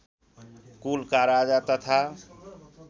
कुलका राजा तथा